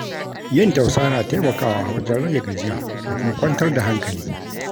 Yin tausa na taimakawa wajen rage gajiya da kuma kwantar da hankali.